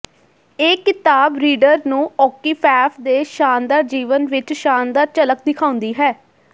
ਇਹ ਕਿਤਾਬ ਰੀਡਰ ਨੂੰ ਓਕੀਫੈਫ਼ ਦੇ ਸ਼ਾਨਦਾਰ ਜੀਵਨ ਵਿੱਚ ਸ਼ਾਨਦਾਰ ਝਲਕ ਦਿਖਾਉਂਦੀ ਹੈ